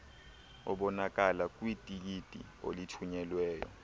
obonakala kwitikiti olithunyelweyo